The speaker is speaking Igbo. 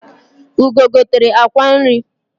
Ugo gotere akwa nri